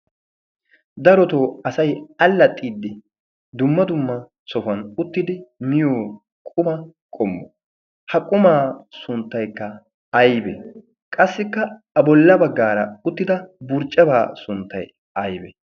darotoo asay allaxiddi dumma dumma sohuwan uttidi miyo quma qommo ha qumaa sunttaikka aibee qassikka a bolla baggaara uttida burccebaa sunttyi aybe